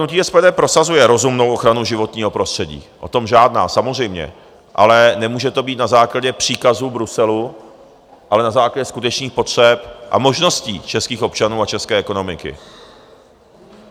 Hnutí SPD prosazuje rozumnou ochranu životního prostředí, o tom žádná, samozřejmě, ale nemůže to být na základě příkazu Bruselu, ale na základě skutečných potřeb a možností českých občanů a české ekonomiky.